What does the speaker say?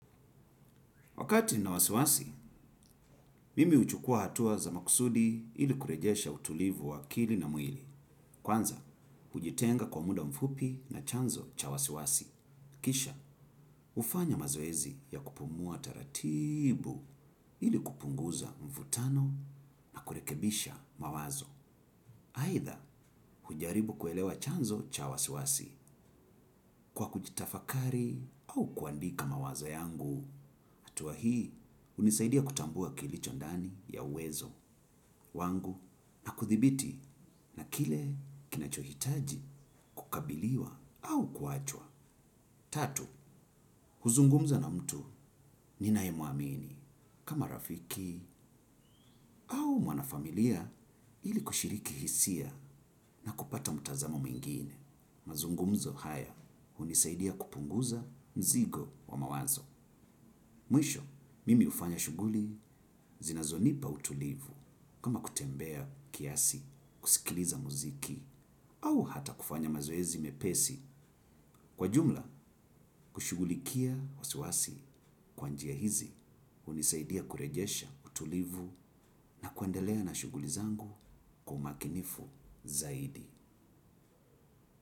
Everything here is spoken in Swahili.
Wakati nina wasiwasi, mimi huchukua hatua za makusudi ili kurejesha utulivu wa akili na mwili. Kwanza, hujitenga kwa muda mfupi na chanzo cha wasiwasi. Kisha, hufanya mazoezi ya kupumua taratibu ili kupunguza mvutano na kurekebisha mawazo. Aidha, hujaribu kuelewa chanzo cha wasiwasi kwa kujitafakari au kuandika mawazo yangu. Hatua hii hunisaidia kutambua kilicho ndani ya uwezo. Wangu na kuthibiti na kile kinachohitaji kukabiliwa au kuachwa. Tatu, huzungumza na mtu ninayemwamini kama rafiki au mwanafamilia ili kushiriki hisia na kupata mtazamo mwingine. Mazungumzo haya hunisaidia kupunguza mzigo wa mawazo. Mwisho, mimi hufanya shughuli zinazonipa utulivu kama kutembea kiasi kusikiliza muziki au hata kufanya mazoezi mepesi kwa jumla kushughulikia wasiwasi kwa njia hizi hunisaidia kurejesha utulivu na kuendelea na shughuli zangu kwa umakinifu zaidi.